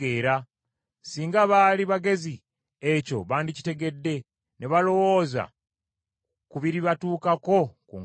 Singa baali bagezi ekyo bandikitegedde, ne balowooza ku biribatuukako ku nkomerero.